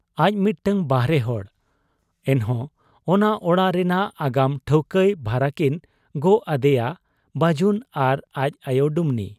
ᱟᱡ ᱢᱤᱫᱴᱟᱹᱝ ᱵᱟᱦᱨᱮ ᱦᱚᱲ ᱾ ᱮᱱᱦᱚᱸ ᱚᱱᱟ ᱚᱲᱟᱜ ᱨᱮᱱᱟᱜ ᱟᱜᱟᱢ ᱴᱷᱟᱹᱣᱠᱟᱹᱭ ᱵᱷᱟᱨᱟᱠᱤᱱ ᱜᱚᱜ ᱟᱫᱮᱭᱟ ᱵᱟᱹᱡᱩᱱ ᱟᱨ ᱟᱡ ᱟᱭᱚ ᱰᱩᱢᱱᱤ ᱾